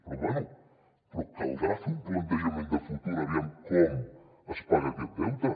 però bé però caldrà fer un plantejament de futur aviam com es paga aquest deute